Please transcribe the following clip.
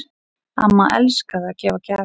Amma elskaði að gefa gjafir.